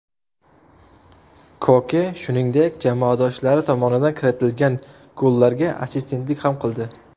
Koke, shuningdek, jamoadoshlari tomonidan kiritilgan gollarga assistentlik ham qildi.